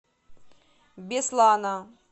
беслана